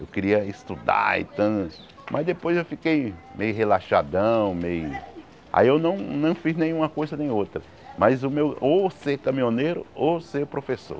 Eu queria estudar e tã, mas depois eu fiquei meio relaxadão, meio... Aí eu não não fiz nenhuma coisa nem outra, mas o meu ou ser caminhoneiro ou ser professor.